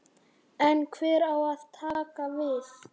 En hver á að taka við?